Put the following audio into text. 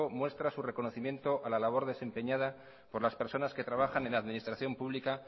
muestra su reconocimiento a la labor desempeñada por las personas que trabajan en la administración publica